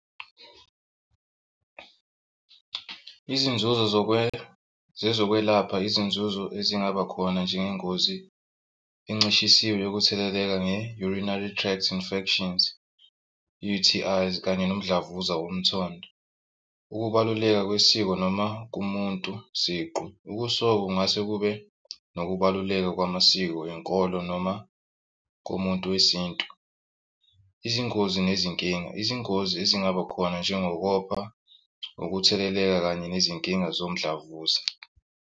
Izinzuzo zezokwelapha izinzuzo ezingaba khona njengengozi encishisiwe yokutheleleka nge-urinary tract infections U_T_I kanye nomdlavuza womthondo. Ukubaluleka kwesiko noma kumuntu siqu. Ukusoka kungase kube nokubaluleka kwamasiko enkolo noma komuntu wesintu. Izingozi nezinkinga, izingozi ezingaba khona njengokopha ukutheleleka kanye nezinkinga somdlavuza.